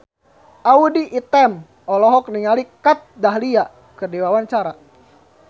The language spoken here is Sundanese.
Audy Item olohok ningali Kat Dahlia keur diwawancara